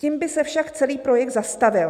"Tím by se však celý projekt zastavil".